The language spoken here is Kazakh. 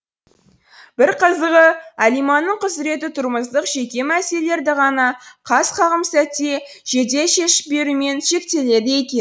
бір қызығы әлиманың құзіреті тұрмыстық жеке мәселелерді ғана қас қағым сәтте жедел шешіп берумен шектеледі екен